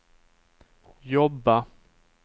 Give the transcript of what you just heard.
jobba